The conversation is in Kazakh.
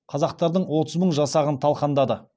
қазақтардың отыз мың жасағын талқандады